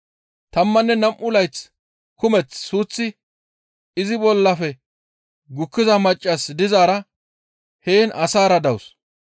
Tammanne nam7u layth kumeth suuththi izi bollafe gukkiza maccas dizaara heen asaara dawus.